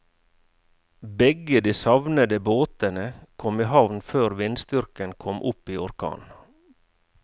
Begge de savnede båtene kom i havn før vindstyrken kom opp i orkan.